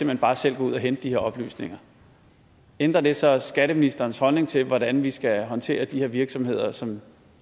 hen bare selv at gå ud og hente de her oplysninger ændrer det så skatteministerens holdning til hvordan vi skal håndtere de her virksomheder som